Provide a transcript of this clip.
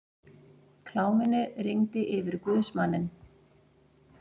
Kláminu rigndi yfir guðsmanninn.